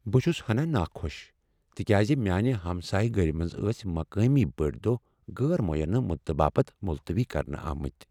بہٕ چھس ہناہ ناخوشی تکیازِ میانِہ ہمسایہ گٔری منٛز ٲسۍ مقٲمی بٔڈۍ دۄہ غیر معینہ مدتباپت ملتوی کرنہ آمتۍ ۔